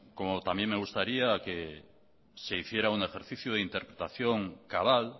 como también me gustaría se hiciera un ejercicio de interpretación cabal